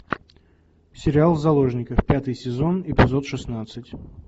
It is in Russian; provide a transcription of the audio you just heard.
сериал заложники пятый сезон эпизод шестнадцать